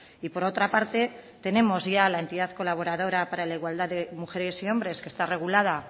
y por otra parte tenemos ya la entidad colaboradora para la igualdad de mujeres y hombres que está regulada